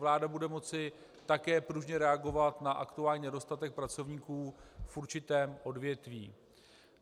Vláda bude moci také pružně reagovat na aktuální nedostatek pracovníků v určitém odvětví.